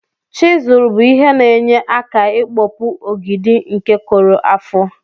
chizul bu ihe na enye aka ikpọpụ ọgidi nke korụ afọ.